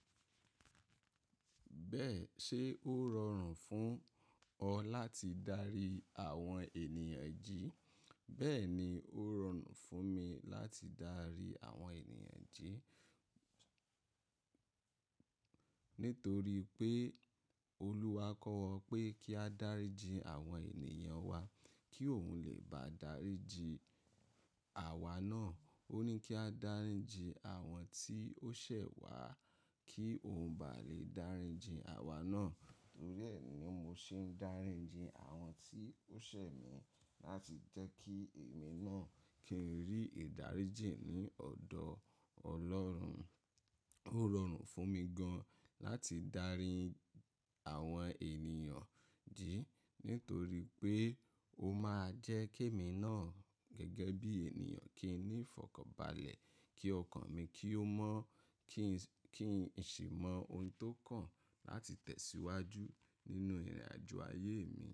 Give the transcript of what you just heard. Bẹ́ẹ̀ ṣe ó rọrùn fún ọ láti darí àwọn ènìyàn jí? Bẹ́ẹ̀ ni ó rọrùn fún mi láti darí àwọn ènìyàn jí. Nítorí pé Olúwa kọ́ wa pé kí a dáríji àwọn ènìyàn wa kí òun lè bá daríji àwa náà. Ó ní kí á dáríji àwọn tí ó ṣẹ̀ wá kí òun ba lè dáríji àwa náà. Nítorí ẹ ni mo ṣe ń dáríji àwọn tí ó ṣẹ̀ mi láti jẹ́ kí èmi náà kí n rí ìdáríjì ní ọ̀dọ̀ Ọlọ́run. Ó rọrùn fún mi gan láti darí àwọn ènìyàn jí nítorí pé ó máa jẹ́ kí èmi náà gẹ́gẹ́ bí ènìyàn kí n ní ìfọ̀kànbalẹ̀, kí ọkàn mi kí ó mọ́, kí n sì mọ ohun tó kàn láti tẹ̀síwájú nínú ìrìnàjò ayé mi.